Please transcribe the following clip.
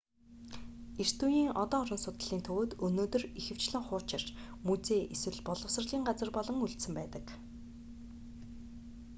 эрт үеийн одон орон судлалын төвүүд өнөөдөр ихэвчлэн хуучирч музей эсвэл боловсролын газар болон үлдсэн байдаг